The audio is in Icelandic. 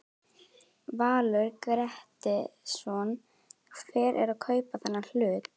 Valur Grettisson: Hver er að kaupa þennan hlut?